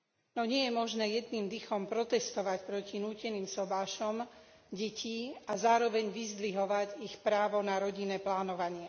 No nie je možné jedným dychom protestovať proti núteným sobášom detí a zároveň vyzdvihovať ich právo na rodinné plánovanie.